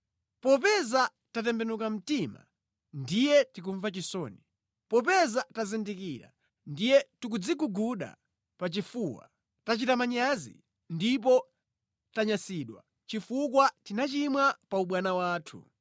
Popeza tatembenuka mtima, ndiye tikumva chisoni; popeza tazindikira ndiye tikudziguguda pachifukwa. Tachita manyazi ndipo tanyazitsidwa chifukwa tinachimwa paubwana wathu.’